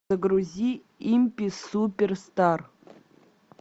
загрузи импи суперстар